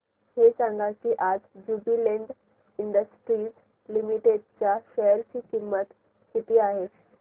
हे सांगा की आज ज्युबीलेंट इंडस्ट्रीज लिमिटेड च्या शेअर ची किंमत किती आहे